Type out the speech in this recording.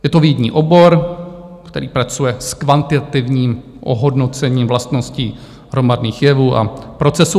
Je to vědní obor, který pracuje s kvantitativním ohodnocením vlastností hromadných jevů a procesů.